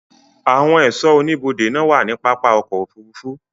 ạwon ẹ̀sọ́ oníbodè màà ń wa ni papá ọ̀kọ̀ ofúrúfú